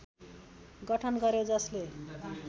गठन गर्‍यो जसले